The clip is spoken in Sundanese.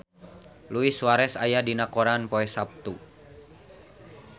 Luis Suarez aya dina koran poe Saptu